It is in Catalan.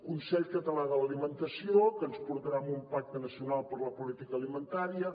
consell català de l’alimentació que ens portarà a un pacte nacional per la política alimentària